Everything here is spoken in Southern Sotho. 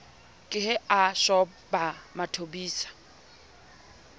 ke ha a shoba mathobisa